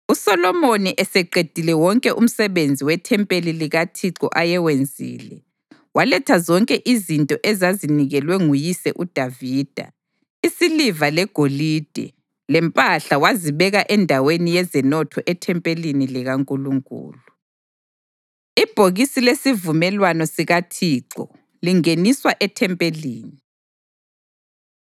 USolomoni eseqedile wonke umsebenzi wethempeli likaThixo ayewenzile, waletha zonke izinto ezazinikelwe nguyise uDavida, isiliva legolide lempahla wazibeka endaweni yezenotho ethempelini likaNkulunkulu. Ibhokisi Lesivumelwano SikaThixo Lingeniswa EThempelini